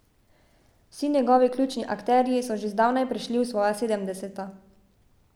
Vsi njegovi ključni akterji so že zdavnaj prešli v svoja sedemdeseta.